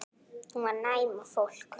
Hún var næm á fólk.